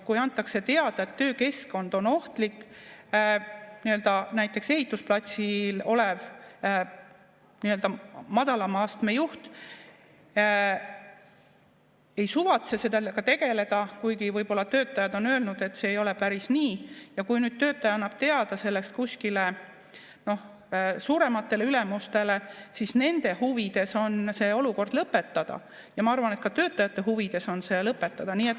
Kui antakse teada, et töökeskkond on ohtlik, aga näiteks ehitusplatsil olev nii-öelda madalama astme juht ei suvatse sellega tegeleda, kuigi võib-olla töötajad on öelnud, et see ei ole päris nii,, ja kui nüüd töötaja annab teada sellest kuskile suurematele ülemustele, siis nende huvides on see olukord lõpetada, ja ma arvan, et ka töötajate huvides on see lõpetada.